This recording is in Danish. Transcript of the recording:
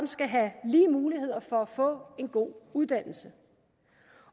skal have lige muligheder for at få en god uddannelse